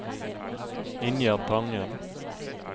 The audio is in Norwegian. Ingjerd Tangen